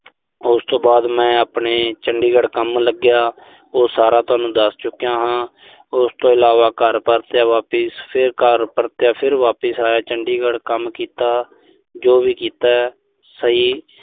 ਉਸ ਤੋਂ ਬਾਅਦ ਮੈਂ ਆਪਣੇ ਚੰਡੀਗੜ੍ਹ ਕੰਮ ਲੱਗਿਆ। ਉਹ ਸਾਰਾ ਤੁਹਾਨੂੰ ਦੱਸ ਚੁੱਕਿਆਂ ਹਾਂ। ਉਸ ਤੋਂ ਇਲਾਵਾ ਘਰ ਪਰਤਿਆਂ ਵਾਪਿਸ, ਫਿਰ ਵਾਪਿਸ ਆਇਆ ਚੰੰਡੀਗੜ੍ਹ ਕੰਮ ਕੀਤਾ, ਜੋ ਵੀ ਕੀਤਾ ਸਹੀ